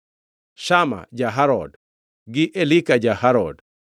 Shama ja-Harod, gi Elika ja-Harod.